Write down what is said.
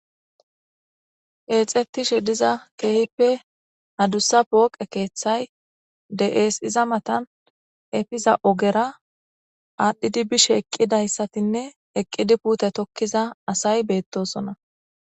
Keexetishe diza keehippe adusa pooqe kethay de'es, iza matani efiza ogera adhidi bishe eqidaysatinne eqidi pute tokiza asay betosona.